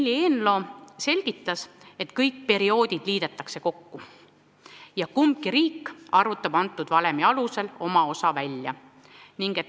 Leili Eenlo selgitas, et kõik perioodid liidetakse kokku ja kumbki riik arvutab teatud valemi alusel oma osa välja.